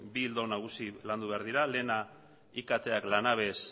bi ildo nagusi landu behar dira lehena iktak lanabes